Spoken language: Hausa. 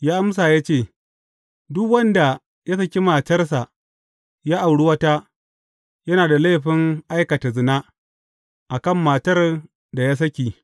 Ya amsa ya ce, Duk wanda ya saki matarsa, ya auri wata, yana da laifin aikata zina a kan matar da ya saki.